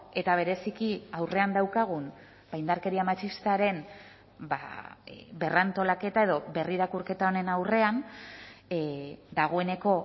eta bereziki aurrean daukagun indarkeria matxistaren berrantolaketa edo berrirakurketa honen aurrean dagoeneko